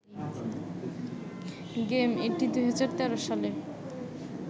game, এটি ২০১৩ সালে